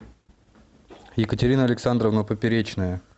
екатерина александровна поперечная